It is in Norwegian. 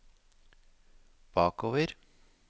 bakover